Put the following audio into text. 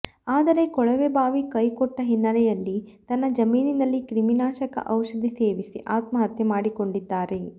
ಆದರೆ ಕೊಳವೆ ಬಾವಿ ಕೈಕೊಟ್ಟ ಹಿನ್ನೆಲೆಯಲ್ಲಿ ತನ್ನ ಜಮೀನಿನಲ್ಲಿ ಕ್ರಿಮಿನಾಶಕ ಔಷಧಿ ಸೇವಿಸಿ ಆತ್ಮಹತ್ಯೆ ಮಾಡಿಕೊಂಡಿದ್ದಾರೆ